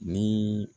Ni